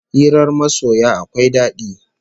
Hirar masoya akwai dadi